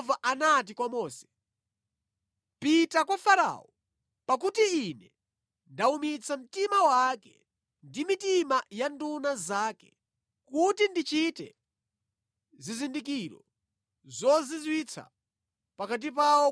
Kenaka Yehova anati kwa Mose, “Pita kwa Farao, pakuti Ine ndawumitsa mtima wake ndi mitima ya nduna zake kuti ndichite zizindikiro zozizwitsa pakati pawo